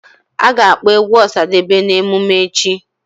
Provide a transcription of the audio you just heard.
A ga-akpọ egwu Osadebe na emume echi